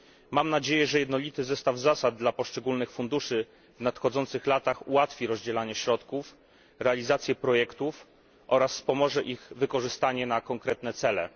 Mam nadzieję, że jednolity zestaw zasad dla poszczególnych funduszy w nadchodzących latach ułatwi rozdzielanie środków, realizację projektów oraz wspomoże ich wykorzystanie na konkretne cele.